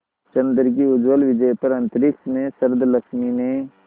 चंद्र की उज्ज्वल विजय पर अंतरिक्ष में शरदलक्ष्मी ने